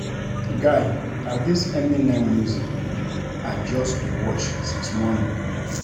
Guy na dis Eminem music video I just dey watch since morning